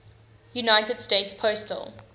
united states postal